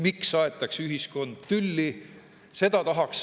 Miks aetakse ühiskonda tülli?